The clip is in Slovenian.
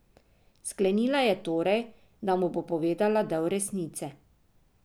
Sklenila je torej, da mu bo povedala del resnice.